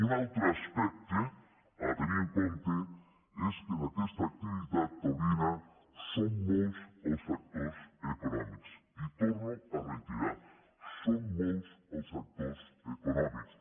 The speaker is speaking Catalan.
un altre aspecte a tenir en compte és que en aquesta activitat taurina són molts els actors econòmics i ho torno a reiterar són molts els actors econòmics